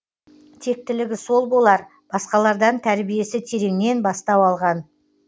тектілігі сол болар басқалардан тәрбиесі тереңнен бастау алған